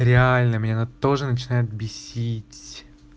реально меня она тоже начинает бесить